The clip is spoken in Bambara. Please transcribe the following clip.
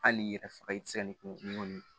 Hali n'i yɛrɛ faga i tɛ se ka nin